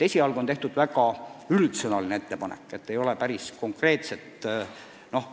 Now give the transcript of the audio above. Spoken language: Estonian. Esialgu on tehtud väga üldsõnaline ettepanek, midagi väga konkreetset ei ole.